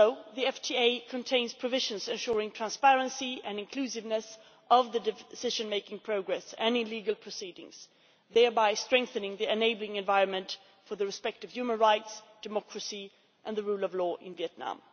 The FTA also contains provisions ensuring the transparency and inclusiveness of the decision making process and any legal proceedings, thereby strengthening the enabling environment for the respect of human rights, democracy and the rule of law in Vietnam.